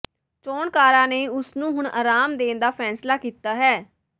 ਚੋਣਕਾਰਾਂ ਨੇ ਉਸ ਨੂੰ ਹੁਣ ਆਰਾਮ ਦੇਣ ਦਾ ਫੈਸਲਾ ਕੀਤਾ ਹੈ